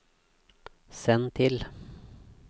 send til